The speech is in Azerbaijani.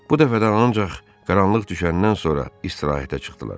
Bu dəfə də ancaq qaranlıq düşəndən sonra istirahətə çıxdılar.